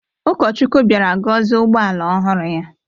Ụkọchukwu bịara gọzie ụgbọala ọhụrụ ya.